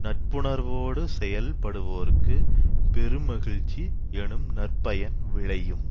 நட்புணர்வோடு செயல்படுவோருக்குப் பெருமகிழ்ச்சி எனும் நற்பயன் விளையும்